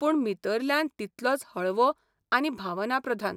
पूण भीतरल्यान तितलोच हळवो आनी भावनाप्रधान.